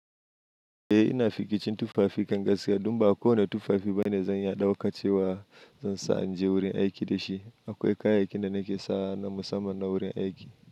E ina fikicin tufafi kan gaskiya, don ba a ko wane tufafi bane zan iya ɗauka cewa zan sa inje wurin aiki da shi. Akwai kayaya kin da nake sawa na musamman na wurin aiki.